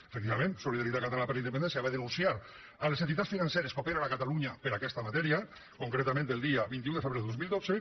efectivament solidaritat catalana per la independència va denunciar les entitats financeres que operen a catalunya per aquesta matèria concretament el dia vint un de febrer de dos mil dotze